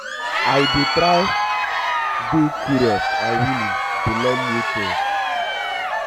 i dey try dey curious um and willing to learn new things.